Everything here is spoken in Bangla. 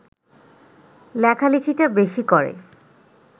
লেখালেখিটা বেশি করে